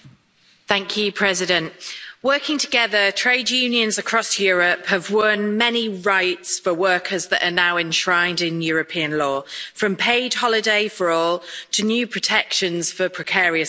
Madam President, working together, trade unions across Europe have won many rights for workers that are now enshrined in European law from paid holiday for all, to new protections for precarious workers.